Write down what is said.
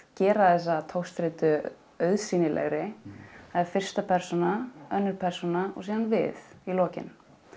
gera þessa togstreitu auðsýnilegri það er fyrsta persóna önnur persóna og síðan við í lokin